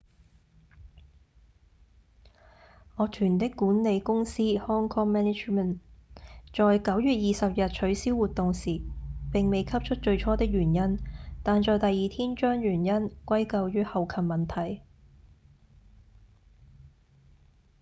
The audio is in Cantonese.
樂團的管理公司 hk management inc. 在9月20日取消活動時並未給出最初的原因但在第二天將原因歸咎於後勤問題